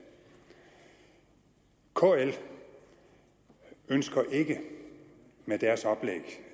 kl ønsker ikke med deres oplæg